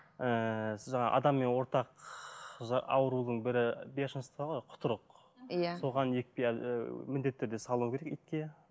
ііі адаммен ортақ аурудың бірі бешенство ғой құтырық иә соған екпе ыыы міндетті түрде салу керек итке